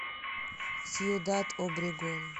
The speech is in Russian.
сьюдад обрегон